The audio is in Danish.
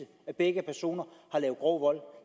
at begge personer har lavet grov vold